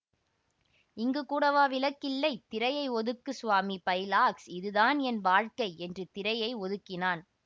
இங்கு கூடவா விளக்கு இல்லை திரையை ஒதுக்கு ஸ்வாமி பைலார்க்கஸ் இதுதான் என் வாழ்க்கை என்று திரையை ஒதுக்கினான்